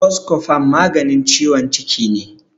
Boskofon maganin ciwon ciki ne.